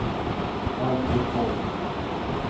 Alfred Ahlqvist